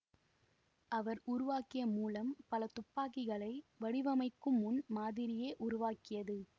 அவர் உருவாக்கிய மூலம் பலத் துப்பாக்கிகளை வடிவமைக்கும் முன் மாதிரியை உருவாக்கியது